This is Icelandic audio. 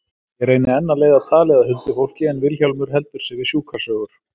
Ég reyni enn að leiða talið að huldufólki en Vilhjálmur heldur sig við sjúkrasögur.